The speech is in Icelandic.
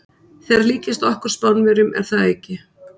Þeir líkjast okkur Spánverjum, er það ekki?